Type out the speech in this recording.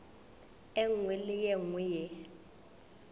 nngwe le ye nngwe ye